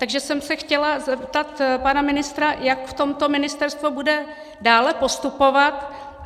Takže jsem se chtěla zeptat pana ministra, jak v tomto ministerstvo bude dále postupovat.